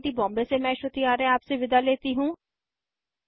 I I T Bombay से मैं श्रुति आर्य आपसे विदा लेती हूँ